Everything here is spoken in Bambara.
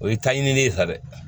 O ye taɲini ye sa dɛ